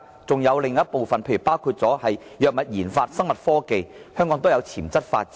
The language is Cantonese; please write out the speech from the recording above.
另一個領域就是包括藥物研發、生物科技，香港均有潛質發展。